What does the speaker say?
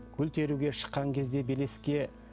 гүл теруге шыққан кезде белеске